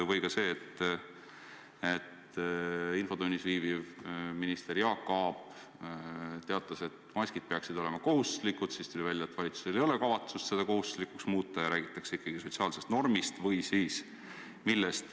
Samuti see, et infotunnis viibiv minister Jaak Aab teatas, et maskid peaksid olema kohustuslikud, aga siis tuli välja, et valitsusel ei ole kavatsust neid kohustuslikuks muuta ja räägitakse ikkagi sotsiaalsest normist.